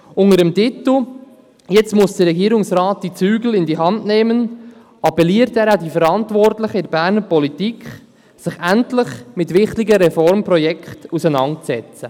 Unter dem Titel «Jetzt muss der Regierungsrat die Zügel in die Hand nehmen» appelliert er an die Verantwortlichen in der Berner Politik, sich endlich mit wichtigen Reformprojekten auseinanderzusetzen.